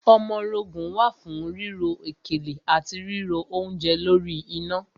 Ọmọrogùn wà fún ríro òkèlè àti ríro oúnje lórí iná.